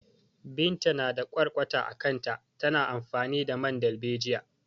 Binta na da ƙwarƙwata a kanta, tana amfani da man dalbejiya.